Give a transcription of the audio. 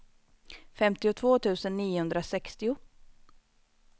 femtiotvå tusen niohundrasextio